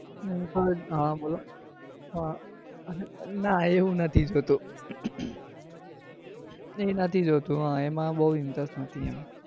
હા બોલો ના હું એ નથી જોતો એ નથી જોતો એમાં બઉ interest નથી.